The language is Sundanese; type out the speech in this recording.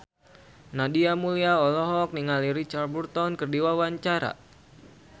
Nadia Mulya olohok ningali Richard Burton keur diwawancara